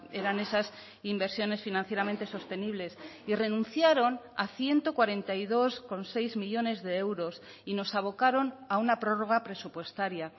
eran esas inversiones financieramente sostenibles y renunciaron a ciento cuarenta y dos coma seis millónes de euros y nos abocaron a una prórroga presupuestaria